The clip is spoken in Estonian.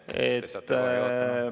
Te saate kohe juhatama.